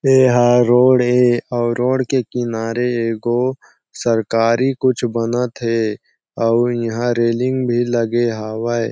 ए ह रोड हे और रोड के किनारे एगो सरकारी कुछ बनत हे और यहाँ रेलिंग भी लगे हवय।